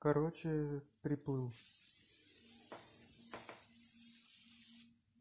короче приплыл